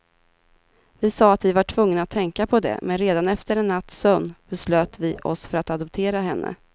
Vi sa att vi var tvungna att tänka på det, men redan efter en natts sömn beslöt vi oss för att adoptera henne.